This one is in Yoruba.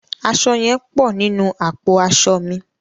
Aṣọ yẹn pọ̀ nínú àpò aṣọ mi.